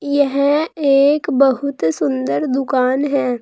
यह एक बहुत सुंदर दुकान है।